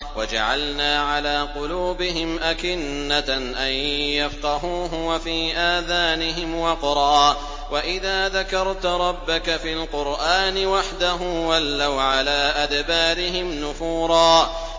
وَجَعَلْنَا عَلَىٰ قُلُوبِهِمْ أَكِنَّةً أَن يَفْقَهُوهُ وَفِي آذَانِهِمْ وَقْرًا ۚ وَإِذَا ذَكَرْتَ رَبَّكَ فِي الْقُرْآنِ وَحْدَهُ وَلَّوْا عَلَىٰ أَدْبَارِهِمْ نُفُورًا